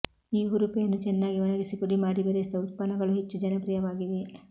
ಈ ಹುರುಪೆಯನ್ನು ಚೆನ್ನಾಗಿ ಒಣಗಿಸಿ ಪುಡಿಮಾಡಿ ಬೆರೆಸಿದ ಉತ್ಪನ್ನಗಳು ಹೆಚ್ಚು ಜನಪ್ರಿಯವಾಗಿವೆ